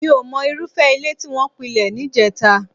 Mí ò mọ irúfẹ́ ilé tí wọ́n pilẹ̀ níjẹta